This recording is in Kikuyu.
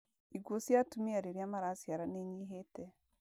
Ikuũ cia atumia rĩrĩa maraciara ni inyihĩte.